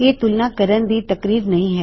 ਇਹ ਤੁਲਨਾ ਕਰਨ ਦੀ ਤਕਨੀਕ ਨਹੀ ਹੈ